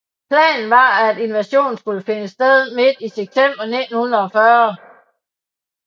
Planen var at invasionen skulle finde sted midt i september 1940